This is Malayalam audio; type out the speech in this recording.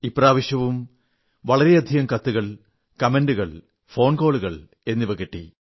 ഇപ്രാവശ്യവും വളരെയധികം കത്തുകൾ കമന്റുകൾ ഫോൺ കോളുകൾ കിട്ടി